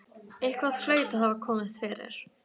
Eitthvað hlaut að hafa komið fyrir.